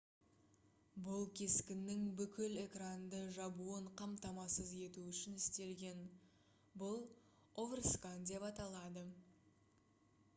бұл кескіннің бүкіл экранды жабуын қамтамасыз ету үшін істелген бұл оверскан деп аталады